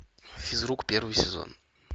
физрук первый сезон